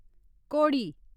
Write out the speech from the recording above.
घोड़ी